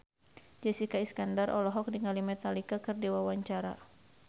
Jessica Iskandar olohok ningali Metallica keur diwawancara